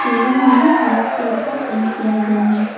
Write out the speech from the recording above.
Ceiling में white colour का paint किया गया है।